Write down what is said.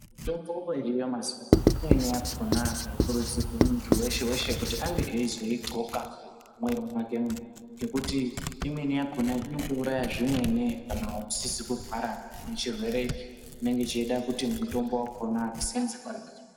Mutombo iriyo mazuvano imweni yakona haikurudzirwi muntu weshe weshe kuti ange eyizoidxoka mwiiri mwakemwo, ngekuti imweni yakona inotouraya zvimweni kana usizi kurwara nechirwere chinenge cheide kuti mutombo wakona useenze.